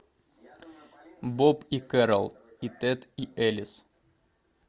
боб и кэрол и тед и элис